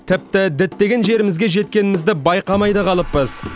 тіпті діттеген жерімізге жеткенімізді байқамай да қалыппыз